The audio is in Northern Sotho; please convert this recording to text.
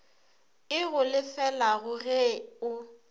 e go lefelago ge o